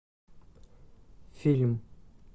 фильм